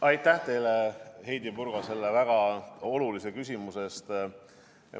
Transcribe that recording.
Aitäh teile, Heidy Purga, selle väga olulise küsimuse eest!